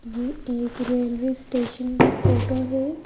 यह एक railway station की फोटो है।